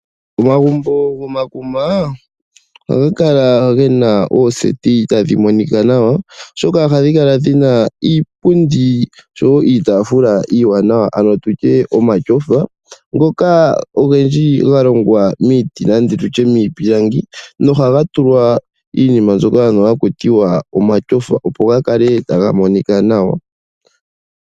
Omagumbo gomakuma ohaga kala gena ooseti tadhi monika nawa oshoka ohadhi kala dhina iipundi oshowo iitafula iiwanawa, ano tutye omashofa ngoka ogendji ga longwa miiti, ano tutye miipilangi. Nohaga tulwa iinima mbyoka ano haku tiwa omashofa opo ga kale taga monika nawa.